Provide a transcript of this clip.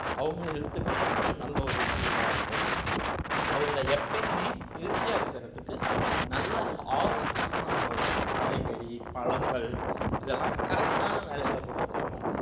அவங்க health க்கு பண்ற நல்ல ஒரு விஷயமா இருக்கும் அவங்க எப்பயுமே healthy ஆ இருக்குறதுக்கு நல்ல ஆரோக்கியமான உணவுகள் காய்கறி பழங்கள் இதெல்லாம் correct ஆன வேலையில குடுத்திறணும்